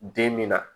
Den min na